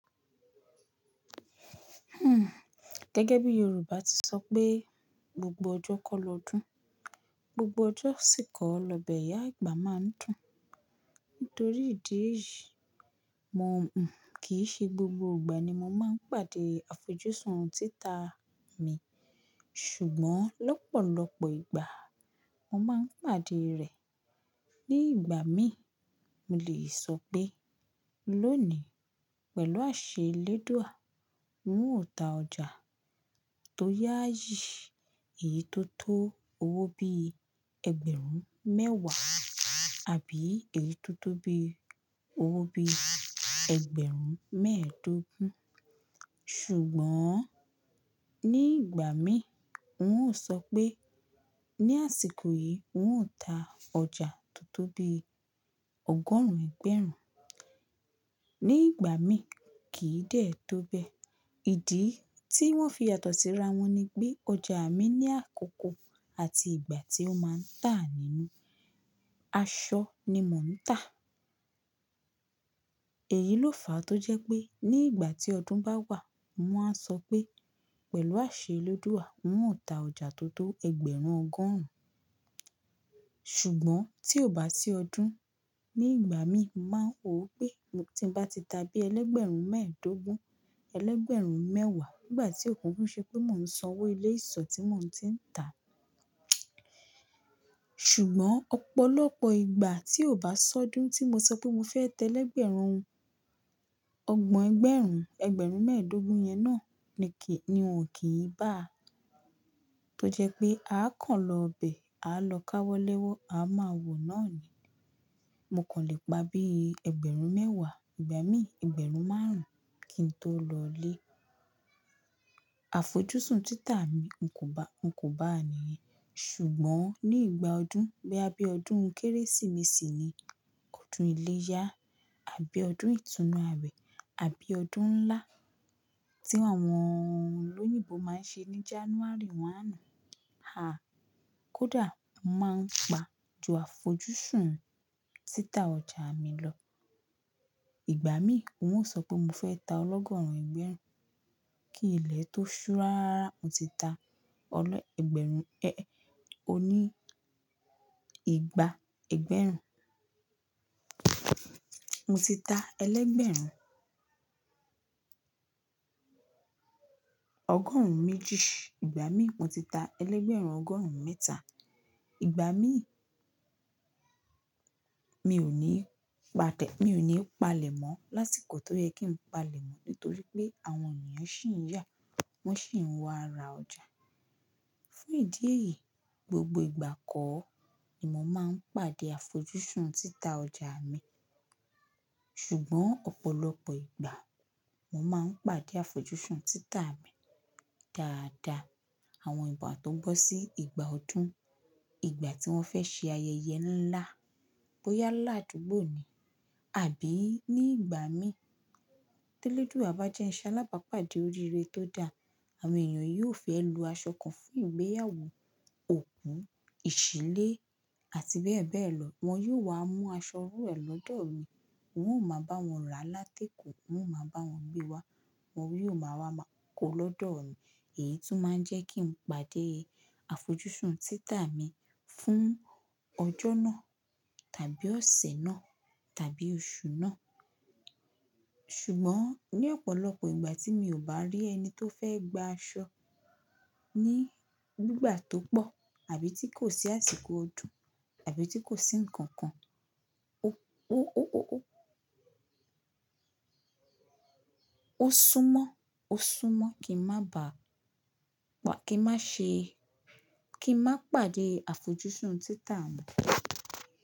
Gẹ́gẹ́ bí Yorùbá ti sọ pé gbogbo ọjọ́ kọ́ lọdún, gbogbo ọjọ́ sì kọ́ lọ bẹ̀ iyà àgbà má a ń dùn. Nítorí ìdí èyí, mò n kì í ṣe gbogbo ìgbà ni mo máa ń pàdé àfojúsùn títà mi, ṣùgbọ́n lọ́pọ̀lọpọ̀ ìgbà mo máa ń pàdé rẹ̀. Ní ìgbà mí, mo lè sọ pé lónìí pẹ̀lú àṣẹ Elédùà, ń ò ta ọjà tó yá yí, èyí tó tó owó bí ẹgbẹ̀rún mẹ́wàá àbí èyí tó tó bí owó ẹgbẹ̀rún mẹ́ẹ̀dógún. Ṣùgbọ́n ní ìgbà mí, ń ò sọ pé ní àsìkò yìí ń ò ta ọjà tó tó bí ọgọ́rùn-ún ẹgbẹ̀rún. Ní ìgbà mí, kì í dè tó bẹ́ẹ̀. Ìdí tí wọ́n fi yàtọ̀ síra wọn ni pé ọjà mi ní àkókò àti ìgbà tí ó máa ń tà nínú. Aṣọ ni mò ń tà. Èyí ló fà á tó jẹ́ pé ní ìgbà tí ọdún bá wà, mo á sọ pé pẹ̀lú àṣẹ Elédùà, ń ò ta ọjà tó tó ẹgbẹ̀rún ọgọ́rùn-ún. Ṣùgbọ́n tí ò bá sí ọdún, ní ìgbà mí, mà wó pé tí n bá ti ta bí elẹgbẹ̀rún mẹ́ẹ̀dógún, elẹgbẹ̀rún mẹ́wàá nígbà tí ko kuku ṣe pé mò ń san owó ilé ìsọ̀ tí mò ń ti ń tà. Ṣùgbọ́n ọ̀pọ̀lọpọ̀ ìgbà tí ò bá sọ́dún tí mo sọ pé mo fẹ́ tẹ elẹgbẹ̀rún ọgbọ̀n ẹgbẹ̀rún, ẹgbẹ̀rún mẹ́ẹ̀dógún yẹn náà ni wọ́n kì í bá a. Tó jẹ́ pé a kàn lọ bẹ̀, a lọ káwọ́ lẹ́wọ́, a máa wò náà ni. Mo kàn lè pa bí ẹgbẹ̀rún mẹ́wàá, ìgbà mí ẹgbẹ̀rún márùn-ún kí n tó lọlé. Àfojúsùn títà mi, ń kò bá àníyẹn. Ṣùgbọ́n ní ìgbà ọdún, boya bí ọdún Kérésìmesì ni, ọdún iléyá àbí ọdún ìtúnu àwẹ̀ àbí ọdún ńlá tí àwọn olóyìnbo máa ń ṣe ní January ọ̀kan àná, haa, kódà mà á pa ju àfojúsùn títà ọjà mi lọ. Ìgbà mí, ń ò sọ pé mo fẹ́ ta ọlọ́gọ́rùn-ún ẹgbẹ̀rún kí ilẹ̀ tó súraára mo ti ta ọlọ́ ẹgbẹ̀rún, ẹ́ ẹ́, oní ìgbà ẹgbẹ̀rún. Mo ti ta elẹgbẹ̀rún ọgọ́rùn-ún méjì, ìgbà mí mo ti ta elẹgbẹ̀rún ọgọ́rùn-ún mẹ́ta. Ìgbà mí, mi ò ní pa tẹ́-- mi ò ní palẹ̀ mọ́ lásìkò tó yẹ kí n palẹ̀ mọ́ nítorí pé àwọn ènìyàn ṣì ń yà, wọ́n ṣì ń wá ra ọjà. Fún ìdí èyí, gbogbo ìgbà kọ́ ni mo máa ń pàdé àfojúsùn títà ọjà mi. Ṣùgbọ́n ọ̀pọ̀lọpọ̀ ìgbà, mo máa ń pàdé àfojúsùn títà mi dáadáa. Àwọn ìgbà tó gbọ́ sí ìgbà ọdún, ìgbà tí wọ́n fẹ́ ṣe ayẹyẹ ńlá, bóyá lá àdúgbò ni àbí ní ìgbà mí, tí Elédùà bá jẹ́ ń ṣalábàápàdé oríire tó da, àwọn ènìyàn yóò fẹ́ lo aṣọ kan fún ìgbéyàwó, òkú, ìṣílé àti bẹ́ẹ̀ bẹ́ẹ̀ lọ. Wọn yóò wá mú aṣọ owó ẹ lọ́dọ̀ mi, wọn ò máa bá wọn rà láti èkó, wọn ò máa bá wọn gbé wá, wọn yóò ma wá kó lọ́dọ̀ mi. Èyí tún máa ń jẹ́ kí n pàdé àfojúsùn títà mi fún ọjọ́ náà tàbí ọ̀sẹ̀ náà tàbí oṣù náà. Ṣùgbọ́n ní ọ̀pọ̀lọpọ̀ ìgbà tí mi ò bá rí ẹni tó fẹ́ gba aṣọ ní gbígba tó pọ̀ àbí tí kò sí àsìkò ọdún àbí tí kò sí ǹkan kan, ó ó súnmọ́, ó súnmọ́ kí n má bà á, kí n má ṣe, kí n má pàdé àfojúsùn títà mi.